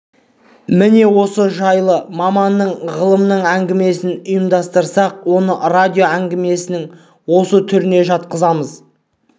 міне осы жайлы маманның ғалымның әңгімесін ұйымдастырсақ оны радио әңгіменің осы түріне жатқызамыз